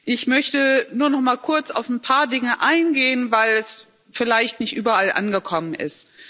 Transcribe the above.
Ich möchte nur noch einmal kurz auf ein paar Dinge eingehen, weil es vielleicht nicht überall angekommen ist.